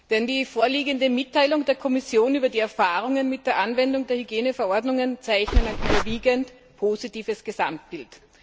denn die vorliegende Mitteilung der Kommission über die Erfahrungen mit der Anwendung der Hygieneverordnungen zeichnet ein überwiegend positives Gesamtbild.